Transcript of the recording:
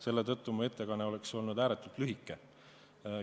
Selle tõttu oleks mu ettekanne olnud ääretult lühike.